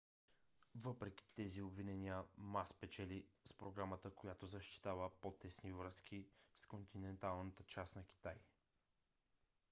въпреки тези обвинения ма спечели с програма която защитава по-тесни връзки с континенталната част на китай